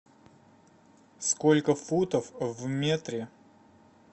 сколько футов в метре